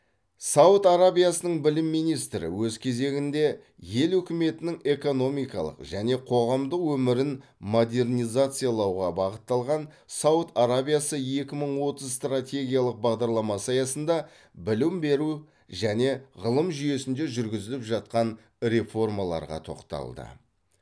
сауд арабиясының білім министрі өз кезегінде ел үкіметінің экономикалық және қоғамдық өмірін модернизациялауға бағытталған сауд арабиясы екі мың отыз стратегиялық бағдарламасы аясында білім беру және ғылым жүйесінде жүргізіліп жатқан реформаларға тоқталды